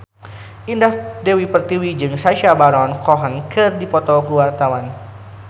Indah Dewi Pertiwi jeung Sacha Baron Cohen keur dipoto ku wartawan